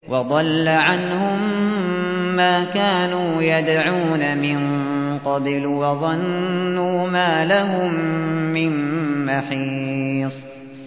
وَضَلَّ عَنْهُم مَّا كَانُوا يَدْعُونَ مِن قَبْلُ ۖ وَظَنُّوا مَا لَهُم مِّن مَّحِيصٍ